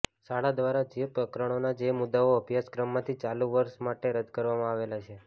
શાળા દ્વારા જે પ્રકરણોના જે મુદ્દાઓ અભ્યાસક્રમમાંથી ચાલુ વર્ષ માટે રદ કરવામાં આવેલા છે